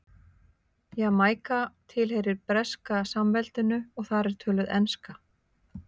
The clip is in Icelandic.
Jamaíka tilheyrir Breska samveldinu og þar er töluð enska.